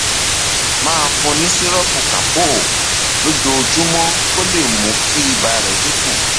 máa fún un ní sìrọọpù calpol lójoojúmọ kó lè mú kí ibà rẹ dín kù